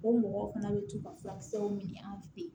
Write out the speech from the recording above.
O mɔgɔw fana bɛ to ka furakisɛw ɲini an fɛ yen